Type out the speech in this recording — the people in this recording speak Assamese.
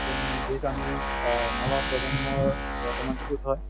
যিহেতু আমি অ নৱপ্ৰজন্মৰ বৰ্তমান হয়